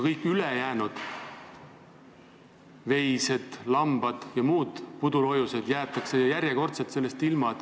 Kõik ülejäänud – veised, lambad ja muud pudulojused – jäetakse järjekordselt toetusest ilma.